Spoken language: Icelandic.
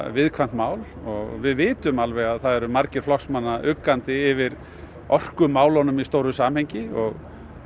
viðkvæmt mál við vitum alveg að það eru margir flokksmanna uggandi yfir orkumálunum í stóru samhengi og